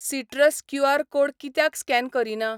Citrus QR. Code कित्याक scan करीना?